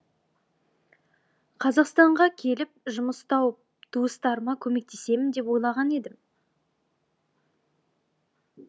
қазақстанға келіп жұмыс тауып туыстарыма көмектесемін деп ойлаған едім